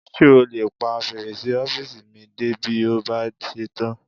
Ṣé o lè pa fèrèsé ọ́fìsì mi dé bí o bá ṣe tán?